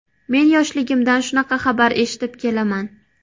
Men yoshligimdan shunaqa xabar eshitib kelaman.